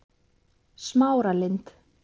Smáralind